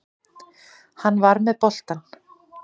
Hann var með boltann.